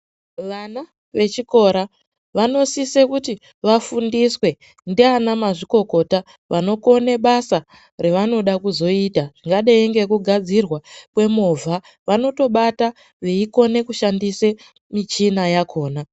Vana vechikora vanosise kuti vafundiswe ndiana mazvikokota vanokone basa ravanoda kuzoita zvingadei ngekugadzirwa kwe movha vanotobata vei kone kushandise michina yakona.